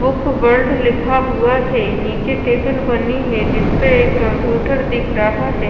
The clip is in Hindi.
बुक वर्ल्ड लिखा हुआ है नीचे टेबल बनी है जिस पे एक कंप्यूटर दिख रहा है।